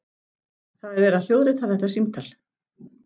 Það er verið að hljóðrita þetta símtal.